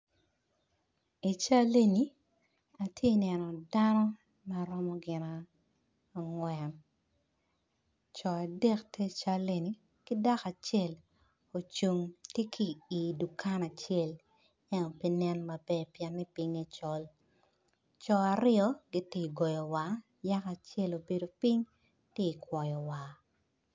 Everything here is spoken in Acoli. I cal eni atye neno dano maromo gin angwen coo adek tye i cal eni ki dako acel ocung tye ki idukan a cel ento pe nen maber pien pinge col co aryo gitye golo war nyako acel ogolo ping tye kwoyo war.